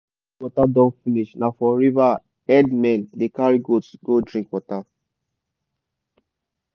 when village water don finish na for river herdmen dey carry goats go drink water.